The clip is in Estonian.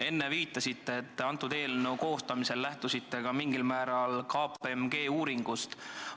Enne te viitasite, et lähtusite eelnõu koostamisel mingil määral KPMG uuringust.